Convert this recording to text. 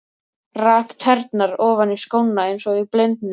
Rak tærnar ofan í skóna eins og í blindni.